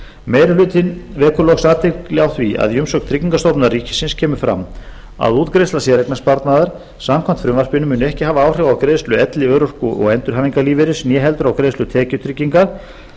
meiri hlutinn vekur loks athygli á því að í umsögn tryggingastofnunar ríkisins kemur fram að útgreiðsla séreignarsparnaðar samkvæmt frumvarpinu muni ekki hafa áhrif á greiðslu elli örorku og endurhæfingarlífeyris né heldur á greiðslu tekjutryggingar